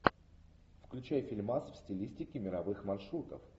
включай фильмас в стилистике мировых маршрутов